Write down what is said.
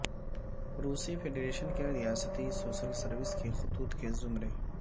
روسی فیڈریشن کے ریاستی سول سروس کے خطوط کے زمرے